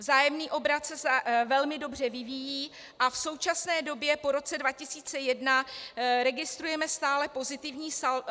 Vzájemný obrat se velmi dobře vyvíjí a v současné době po roce 2001 registrujeme stále pozitivní saldo.